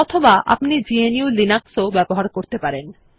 অথবা আপনি GNU Linux ব্যবহার করতে পারেন